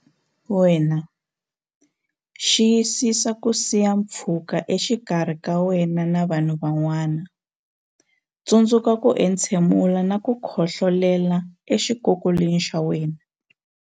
Wena Xiyisisa ku siya pfhuka exikarhi ka wena na vanhu van'wana Tsundzuka ku entshe mula na ku khohlolela exikokolweni xa wena.